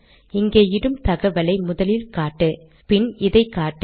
இங்கே இடும் தகவலை முதலில் காட்டு அப்புறம் இதைக்காட்டு